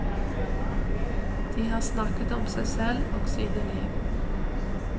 De har snakket om seg selv og sine liv.